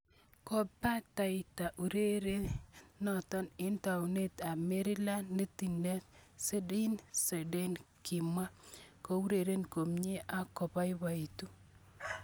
Kobataita ureriet noto eng taunit ab Maryland, netindet Zinedine Zidane kimwa: kiureren komnye ak kiabaibaitu.